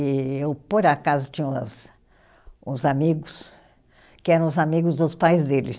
E eu, por acaso, tinha umas uns amigos que eram os amigos dos pais dele.